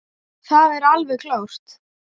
Það er alveg klárt.